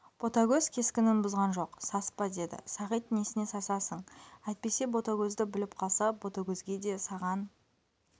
ботагөз кескінін бұзған жоқ саспа деді сағит несіне сасасың әйтпесе ботагөзді біліп қалса ботагөзге де саған